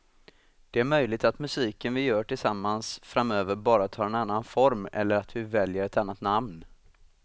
Det är möjligt att musiken vi gör tillsammans framöver bara tar en annan form eller att vi väljer ett annat namn.